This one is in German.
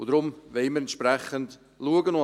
Und darum wollen wir entsprechend schauen.